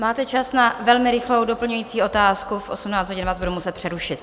Máte čas na velmi rychlou doplňující otázku, v 18 hodin vás budu muset přerušit.